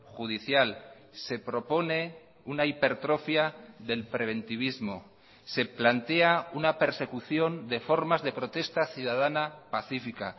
judicial se propone una hipertrofia del preventivismo se plantea una persecución de formas de protesta ciudadana pacífica